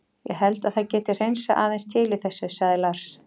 Ég held að það geti hreinsað aðeins til í þessu, sagði Lars.